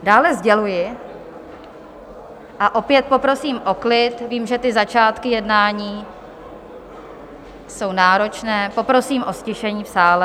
Dále sděluji - a opět poprosím o klid, vím, že ty začátky jednání jsou náročné, poprosím o ztišení v sále.